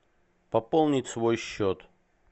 пополнить свой счет